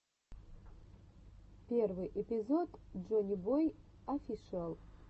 первый эпизод джоннибой офишиал